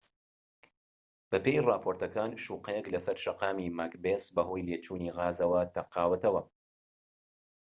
بەپێی ڕاپۆرتەکان شوقەیەك لەسەر شەقامی ماکبێس بەهۆی لێچوونی غازەوە تەقاوەتەوە